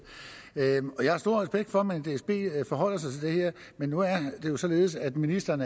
jeg har stor respekt for at man i dsb forholder sig til det her men nu er det jo således at ministeren